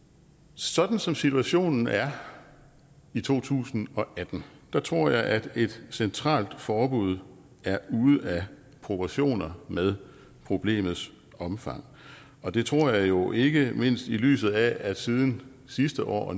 sådan som situationen er i to tusind og atten tror jeg at et centralt forbud er ude af proportioner med problemets omfang og det tror jeg jo ikke mindst i lyset af at ministeren siden sidste år